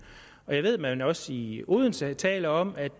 jeg ved at man også i odense taler om at